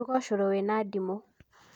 ruga ũcũrũ wĩna ndimũ.